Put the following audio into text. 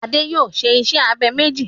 Adé yòó se isẹ́ abẹ méjì.